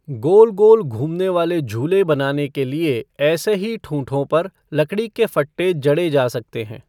गोल गोल घूमने वाले झूले बनाने के लिए ऐसे ही ठूंठों पर लकड़ी के फट्टे जड़ें जा सकते हैं।